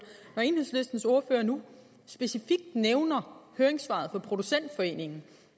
når enhedslistens ordfører nu specifikt nævner høringssvaret fra producentforeningen